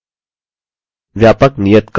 व्यापक नियतकार्य